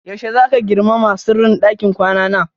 Yaushe zaka girmama sirrin ɗakin kwana na?